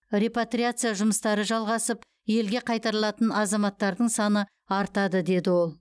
репатриация жұмыстары жалғасып елге қайтарылатын азаматтардың саны артады деді ол